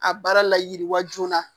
A baara la yiriwa joona